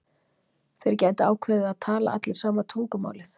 Þeir gætu ákveðið að tala allir sama tungumálið.